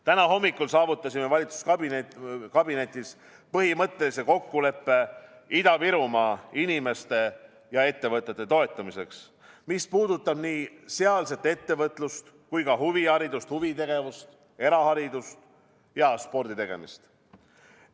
Täna hommikul saavutasime valitsuskabinetis põhimõttelise kokkuleppe Ida-Virumaa inimeste ja ettevõtete toetamiseks, mis puudutab nii sealset ettevõtlust kui ka huviharidust, huvitegevust, eraharidust ja sporditegemist.